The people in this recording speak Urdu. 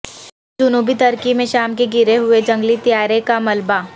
جنوبی ترکی میں شام کے گرے ہوئے جنگی طیارے کا ملبہ